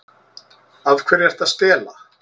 Af hverju ertu að stela?